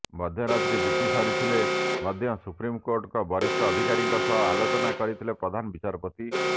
ମଧ୍ୟରାତ୍ରି ବିତି ସାରିଥିଲେ ମଧ୍ୟ ସୁପ୍ରିମକୋର୍ଟଙ୍କ ବରିଷ୍ଠ ଅଧିକାରୀଙ୍କ ସହ ଆଲୋଚନା କରିଥିଲେ ପ୍ରଧାନ ବିଚାରପତି